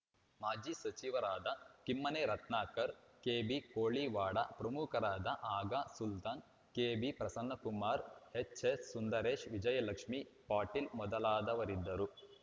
ಮಾಜಿ ಸಚಿವರಾದ ಕಿಮ್ಮನೆ ರತ್ನಾಕರ್‌ ಕೆಬಿ ಕೋಳಿವಾಡ ಪ್ರಮುಖರಾದ ಆಗಾ ಸುಲ್ತಾನ್‌ ಕೆಬಿ ಪ್ರಸನ್ನಕುಮಾರ್‌ ಎಚ್‌ಎಸ್‌ ಸುಂದರೇಶ್‌ ವಿಜಯಲಕ್ಷ್ಮೇ ಪಾಟೀಲ್‌ ಮೊದಲಾದವರಿದ್ದರು